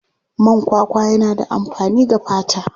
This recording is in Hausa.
Man kwakwa yana da amfani ga fata.